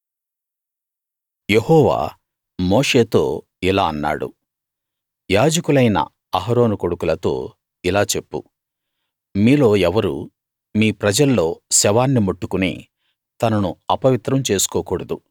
యెహోవా మోషేతో ఇలా అన్నాడు యాజకులైన అహరోను కొడుకులతో ఇలా చెప్పు మీలో ఎవరూ మీ ప్రజల్లో శవాన్ని ముట్టుకుని తనను అపవిత్రం చేసుకోకూడదు